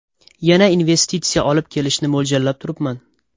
Yana investitsiya olib kelishni mo‘ljallab turibman.